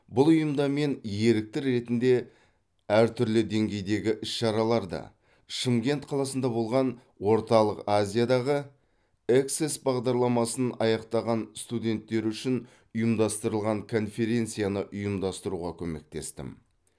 бұл ұйымда мен ерікті ретінде әр түрлі деңгейдегі іс шараларды шымкент қаласында болған орталық азиядағы эксес бағдарламасын аяқтаған студенттері үшін ұйымдастырылған конференсияны ұйымдастыруға көмектестім